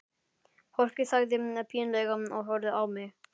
Fólkið þagði pínlega og horfði á mig.